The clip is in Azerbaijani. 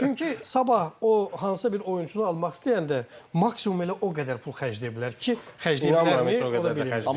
Çünki sabah o hansısa bir oyunçunu almaq istəyəndə maksimum elə o qədər pul xərcləyə bilər ki, xərcləyə bilər, ola bilər.